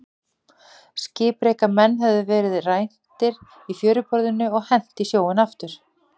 Skipreika menn höfðu verið rændir í fjöruborðinu og hent í sjóinn aftur.